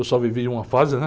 Eu só vivi uma fase, né?